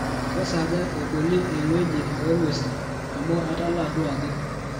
kesaaja eboli engueji oo guesi amu atalaa duo ajing